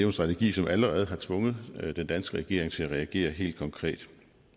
en strategi som allerede har tvunget den danske regering til at reagere helt konkret